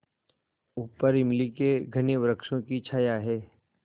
ऊपर इमली के घने वृक्षों की छाया है